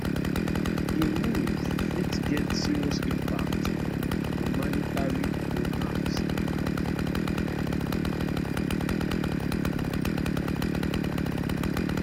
di move fit get serious impact on humanitarian programmes around di world